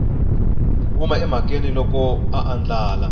huma emhakeni loko a andlala